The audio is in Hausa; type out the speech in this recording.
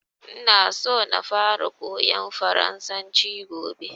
Ina so na fara koyan farasanci gobe